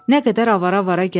Nə qədər avara-avara gəzdi.